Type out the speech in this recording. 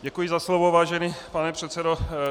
Děkuji za slovo, vážený pane předsedo.